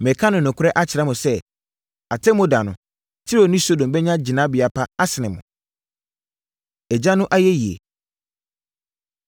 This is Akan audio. Mereka nokorɛ akyerɛ mo sɛ, Atemmuo da no, Tiro ne Sodom bɛnya gyinabea pa asene mo!” Agya No Ayɛyie